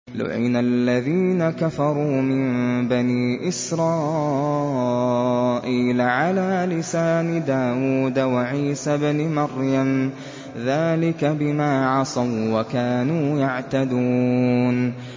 لُعِنَ الَّذِينَ كَفَرُوا مِن بَنِي إِسْرَائِيلَ عَلَىٰ لِسَانِ دَاوُودَ وَعِيسَى ابْنِ مَرْيَمَ ۚ ذَٰلِكَ بِمَا عَصَوا وَّكَانُوا يَعْتَدُونَ